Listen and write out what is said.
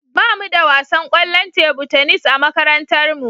Ba mu da wasan kwallon tebu tenis a makarantarmu.